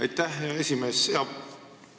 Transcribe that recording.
Aitäh, hea esimees!